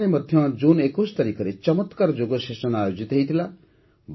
ଏଠାରେ ମଧ୍ୟ ୨୧ ଜୁନରେ ଚମତ୍କାର ଯୋଗ ସେସନ ଆୟୋଜିତ ହୋଇଥିଲା